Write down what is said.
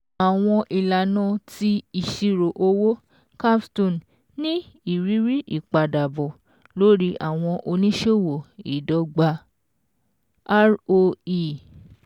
Àwọn ìlànà ti ìṣirò owó CAPSTONE ní ìrírí ìpadàbọ̀ lórí àwọn oníṣòwò ìdọ́gba (ROE)